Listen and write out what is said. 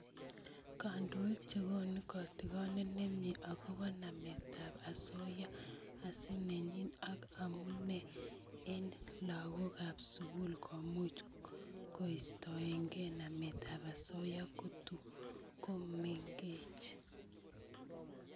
Kandoik chekonu kotigonet nemie agobo nametab osoya, asenenyi ak amune eng lagokab sukul komuch koistoekei nametab osoya kotukomengech